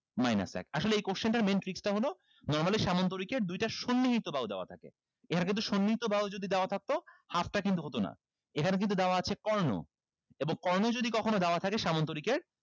minus এক আসলে এই question টার main tricks টা হলো normally সামান্তরিকের দুইটা সন্নিহিত বাহু দেওয়া থাকে এখানে কিন্তু সন্নিহিত বাহু যদি দেওয়া থাকতো half টা কিন্তু হতো না এখানে কিন্তু দেওয়া আছে কর্ণ এবং কর্ণ যদি কখনো দেওয়া থাকে সামান্তরিকের